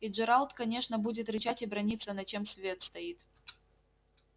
и джералд конечно будет рычать и браниться на чём свет стоит